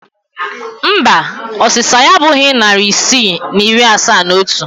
Mba, ọsịsa ya abụghị narị isii na iri asaa na otu